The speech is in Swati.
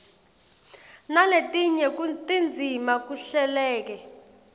naletinye tindzima kuhleleke